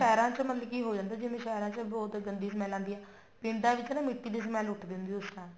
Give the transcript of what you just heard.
ਸ਼ਹਿਰਾਂ ਚ ਮਤਲਬ ਕਿ ਹੋ ਜਾਂਦਾ ਜਿਵੇਂ ਸ਼ਹਿਰਾਂ ਚ ਬਹੁਤ ਗੰਦੀ smell ਆਉਂਦੀ ਆ ਪਿੰਡਾਂ ਵਿੱਚ ਨਾ ਮਿੱਟੀ ਦੀ smell ਉੱਠਦੀ ਉਸ time